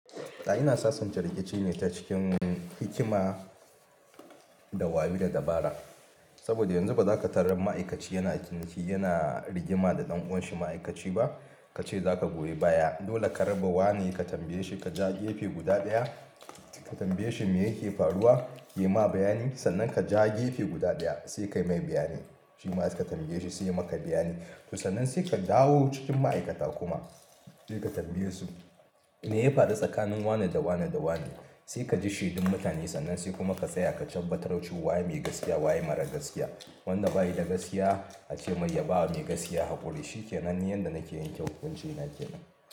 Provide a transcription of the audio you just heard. A'a, ina sasanta rikici ne ta cikin hikima da wayao da dabara. Saboda yanzu ba za ka tarar ma'aikaci yana kinki yana rigima da ɗan uwan shi ma'aikaci ba. Ka ce za ka buɗe baya, dole ka raba wane ka tambaye shi ka ja gefe guda daya. Ka tambaye shi me yake faruwa, ya yi ma bayani. Sannan ka ja gefe guda daya sai kai mai bayani. Shi ma ka tambaye shi sai yay maka bayani. To sannan sai ka dawo cikin ma'aikata kuma sai ka tambaye su me ya faru tsakanin wane da wane da wane. Sai ka ji shedun mutane sannan sai kuma ka tsaya ka tabbatar waye mai gaskiya waye marar gaskiya. Wanda baya da gaskiya a ce mai ya bawa mai gaskiya haƙuri. Shikenan ni yadda nake yanke hukunci na kena.